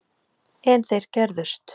En þeir gerðust.